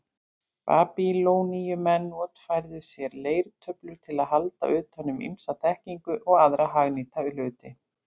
Babýloníumenn notfærðu sér leirtöflur til að halda utan um ýmsa þekkingu og aðra hagnýta hluti.